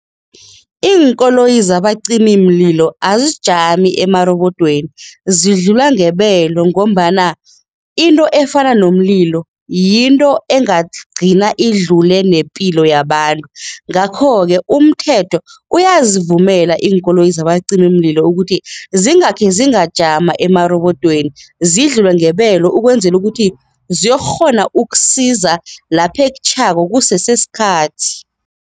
Iinkoloyi zabacimimlilo azijami emarobodweni, zidlula ngebelo ngombana into efana nomlilo yinto engagcina idlule nepilo yabantu. Ngakho-ke umthetho uyazivumela iinkoloyi zabacimimlilo ukuthi zingakhe zingajama emarobodweni, zidlule ngebelo ukwenzela ukuthi ziyokukghona ukusiza lapha ekutjhako kusese sikhathi.